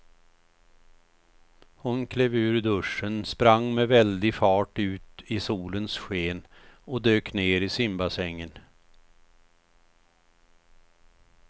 Hon klev ur duschen, sprang med väldig fart ut i solens sken och dök ner i simbassängen.